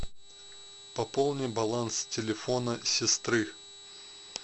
пополни баланс телефона сестры